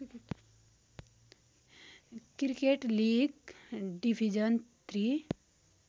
cricket league division three